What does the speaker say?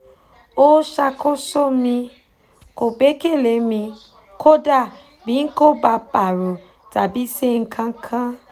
o ṣakoso mi; kò gbẹ́kẹ̀lé mi kódà bí n kò bá parọ́ tàbí ṣe nǹkankan